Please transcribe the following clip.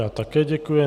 Já také děkuji.